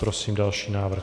Prosím další návrh.